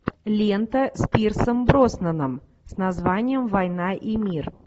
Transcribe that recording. лента с пирсом броснаном с названием война и мир